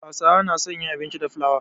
Hausawa suna son yin abinci da flawa.